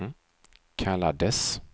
kallades